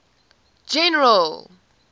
general